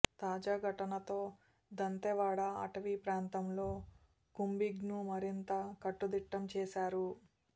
తాజా ఘటనతో దంతేవాడ అటవీ ప్రాంతంలో కూంబింగ్ను మరింత కట్టుదిట్టం చేశారు